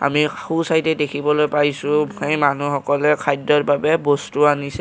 আমি সোঁছাইডে দেখিবলৈ পাইছোঁ সেই মানু্হ সকলে খাদ্যৰ বাবে বস্তু আনিছে।